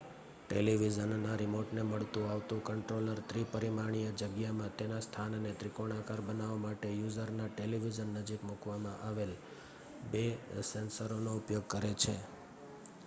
ટેલીવિઝનનાં રીમોટને મળતું આવતું કન્ટ્રોલર ત્રિપરિમાણીય જગ્યામાં તેના સ્થાનને ત્રિકોણાકાર બનાવવા માટે યુઝરના ટેલીવિઝન નજીક મૂકવામાં આવેલા બે સેન્સરોનો ઉપયોગ કરે છે